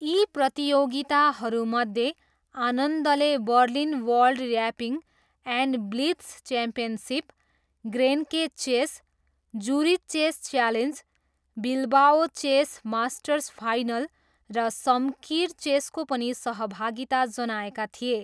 यी प्रतियोगिताहरूमध्ये आनन्दले Berlin world rapid and blitz championship, Grenke chess, Zurich chess challenge, Bilbao chess masters final र Shamkir चेसको पनि सहभागिता जनाएका थिए।